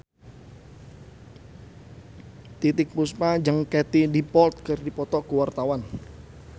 Titiek Puspa jeung Katie Dippold keur dipoto ku wartawan